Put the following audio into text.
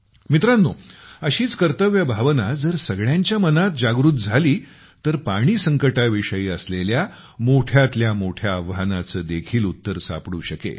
मित्रांनो अशीच कर्तव्यभावना जर सगळ्यांच्या मनात जागृत झाली तर पाणी संकटाविषयी असलेल्या मोठ्यातल्या मोठ्या आव्हानाचे देखील उत्तर सापडू शकेल